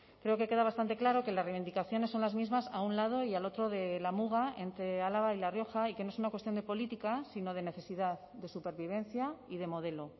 creo que queda bastante claro que las reivindicaciones son las mismas a un lado y al otro de la muga entre álava y la rioja y que no es una cuestión de política sino de necesidad de supervivencia y de modelo